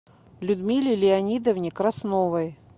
людмиле леонидовне красновой